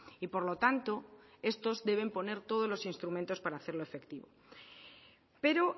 y por lo tanto estos deben poner todos los instrumentos para hacerlo efectivo pero